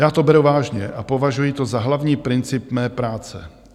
Já to beru vážně a považuji to za hlavní princip mé práce.